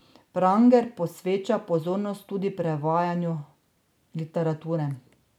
Pranger posveča pozornost tudi prevajanju literature.